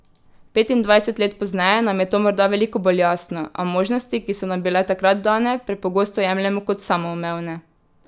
Petindvajset let pozneje nam je to morda veliko bolj jasno, a možnosti, ki so nam bile takrat dane, prepogosto jemljemo kot samoumevne.